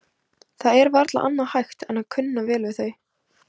Það er varla annað hægt en að kunna vel við þau.